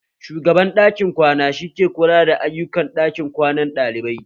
Shugaban ɗakin kwana shi ke kula da ayukan ɗakin kwanan ɗalibai